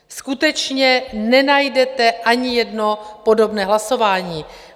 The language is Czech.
Skutečně nenajdete ani jedno podobné hlasování.